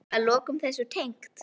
Eitthvað að lokum þessu tengt?